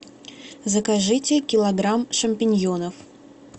закажите килограмм шампиньонов